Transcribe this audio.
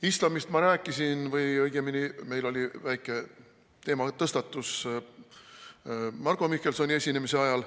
Islamist ma rääkisin või õigemini meil oli väike teematõstatus Marko Mihkelsoni esinemise ajal.